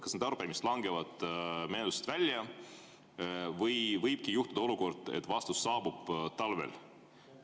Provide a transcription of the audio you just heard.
Kas need arupärimised langevad menetlusest välja või võibki juhtuda olukord, et vastus saabub talvel?